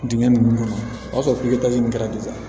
Dingɛ ninnu kɔnɔ o y'a sɔrɔ kɛra